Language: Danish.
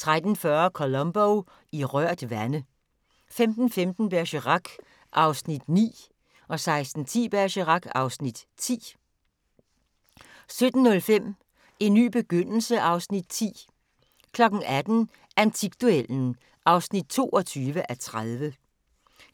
13:40: Columbo: I rørt vande 15:15: Bergerac (Afs. 9) 16:10: Bergerac (Afs. 10) 17:05: En ny begyndelse (Afs. 10) 18:00: Antikduellen (22:30)